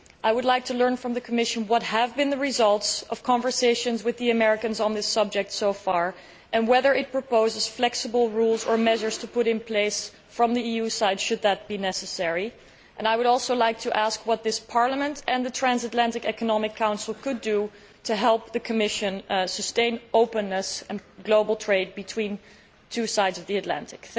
I would like to learn from the Commission what the results of conversations with the Americans on this subject have been so far, and whether it proposes that flexible rules or measures should be introduced on the EU side, should that be necessary. I would also like to ask what this Parliament and the Transatlantic Economic Council could do to help the Commission sustain openness and global trade between the two sides of the Atlantic.